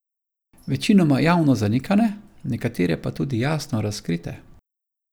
Večinoma javno zanikane, nekatere pa tudi jasno razkrite.